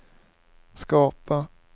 skapa